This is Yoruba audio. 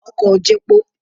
Ọkọ̀ ò jepo.